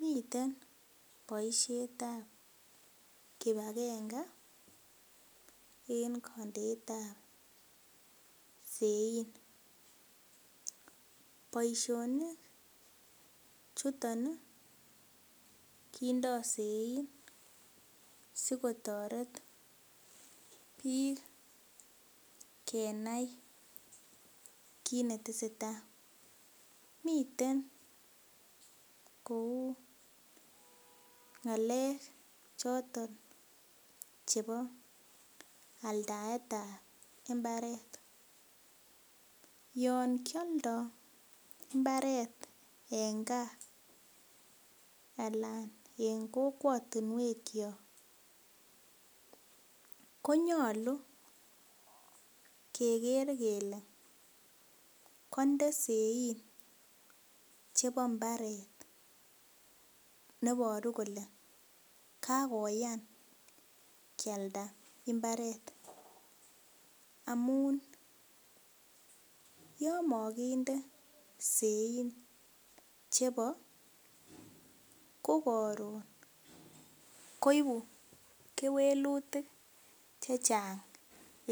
Miten boisiet ab kipagenge en kondeetab sein boisionik chuton kindoo sein sikotoret biik kenai kit netesetai miten kou ng'alek choton chebo aldaet ab mbaret yon kioldoo mbaret en gaa alan en kokwotinwek kyok konyolu keker kele konde sein chebo mbaret neboru kole kakoyan kialda mbaret amun yon mokinde sein chebo kokoron koibu kewelutik chechang